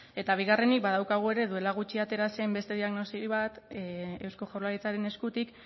eta bigarrenik badaukagu ere duela gutxi atera zen beste diagnosi bat eusko jaurlaritzaren eskutik